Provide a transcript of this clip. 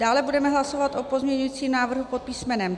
Dále budeme hlasovat o pozměňujícím návrhu pod písm.